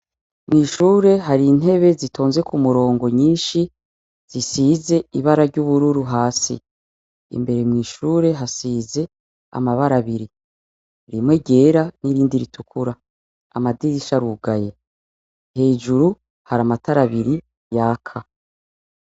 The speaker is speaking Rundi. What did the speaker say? Mw'ishure hari intebe zitonze ku murongo nyinshi zisize ibara ry'ubururu hasi imbere mw'ishure hasize amabara abiri rimwe ryera n'irindi ritukura amadirisha arugaye hejuru hari amatara abiri yaka.